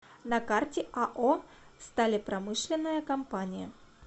на карте ао сталепромышленная компания